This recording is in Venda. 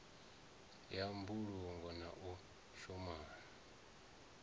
ya mbulungo na u shumana